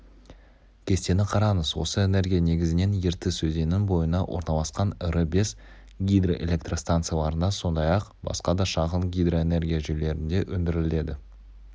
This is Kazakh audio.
кестені қараңыз осы энергия негізінен ертіс өзенінің бойына орналасқан ірі бес гидроэлектрстанцияларында сондай-ақ басқа да шағын гидроэнергияжүйелерінде өндіріледі